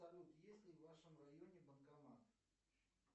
салют есть ли в вашем районе банкомат